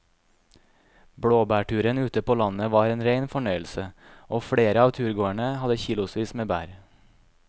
Blåbærturen ute på landet var en rein fornøyelse og flere av turgåerene hadde kilosvis med bær.